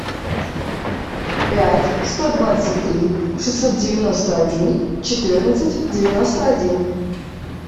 пять сто двадцать три шестьсот девяносто один четырнадцать девяносто один